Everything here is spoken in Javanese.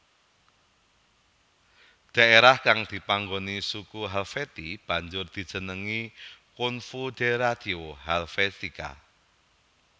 Dhaerah kang dipanggoni suku Helvetii banjur dijenengi Confoederatio Helvetica